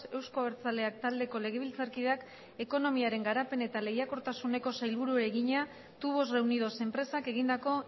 euzko abertzaleak taldeko legebiltzarkideak ekonomiaren garapen eta lehiakortasuneko sailburuari egina tubos reunidos enpresak egindako